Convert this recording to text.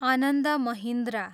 Anand Mahindra